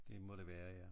Det må det være ja